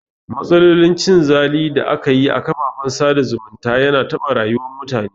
Matsalolin cin zali da aka yi a kafafen sada zumunta yana taɓa rayuwar mutane